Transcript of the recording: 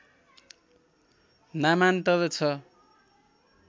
नामान्तर छ